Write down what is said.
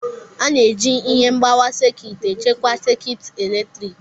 A na-eji ihe mgbawa sekit echekwa sekit eletrik.